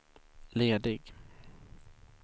ledig